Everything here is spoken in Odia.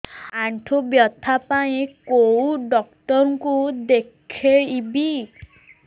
ଆଣ୍ଠୁ ବ୍ୟଥା ପାଇଁ କୋଉ ଡକ୍ଟର ଙ୍କୁ ଦେଖେଇବି